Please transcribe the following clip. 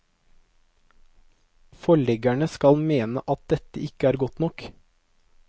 Forleggerne skal mene at dette ikke er godt nok.